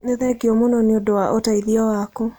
Nĩ thengio mũno nĩ ũndũ wa ũteithio waku.